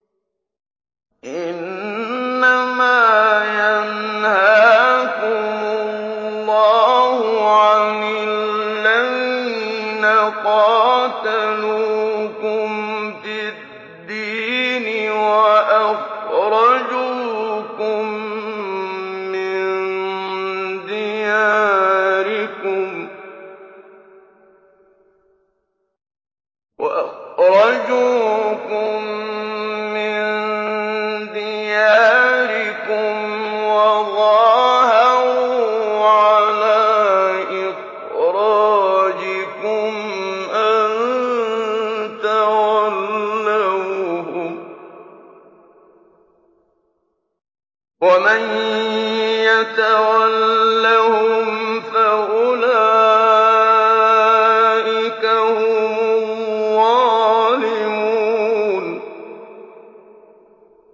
إِنَّمَا يَنْهَاكُمُ اللَّهُ عَنِ الَّذِينَ قَاتَلُوكُمْ فِي الدِّينِ وَأَخْرَجُوكُم مِّن دِيَارِكُمْ وَظَاهَرُوا عَلَىٰ إِخْرَاجِكُمْ أَن تَوَلَّوْهُمْ ۚ وَمَن يَتَوَلَّهُمْ فَأُولَٰئِكَ هُمُ الظَّالِمُونَ